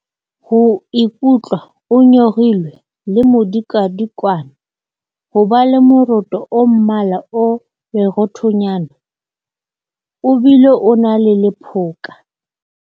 Ho ikutlwa o nyorilwe le modikadikwane. Ho ba le moroto o mmala o leroothonyana, o bile o na le lephoka.